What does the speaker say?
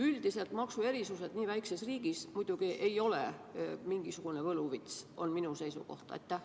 Üldiselt maksuerisused nii väikeses riigis ei ole mingisugune võluvits, on minu seisukoht.